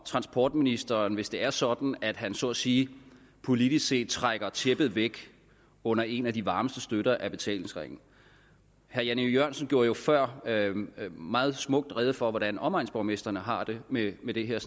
transportministeren hvis det er sådan at han så at sige politisk set trækker tæppet væk under en af de varmeste støtter af betalingsringen herre jan e jørgensen gjorde før meget smukt rede for hvordan omegnsborgmestrene har det med med det her